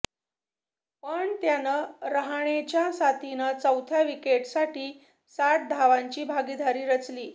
पण त्यानं रहाणेच्या साथीनं चौथ्या विकेटसाठी साठ धावांची भागीदारी रचली